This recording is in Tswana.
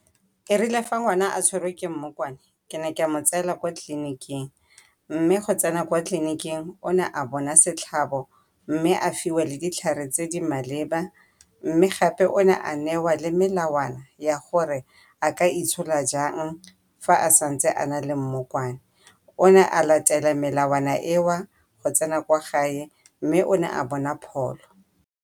Erile fa ngwana a tshwerwe ke mmokwane ke ne ka mo tseela kwa tleliniking, mme go tsena kwa tleliniking o ne a bona setlhabo mme a fiwa le ditlhare tse di maleba. Mme gape o ne a newa le melawana ya gore a ka itshola jang fa a santse a nale mmokwane. O ne a latela melawana eo go tsena kwa gae, mme o ne a bona pholo.